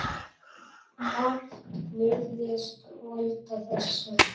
Margt virðist valda þessu.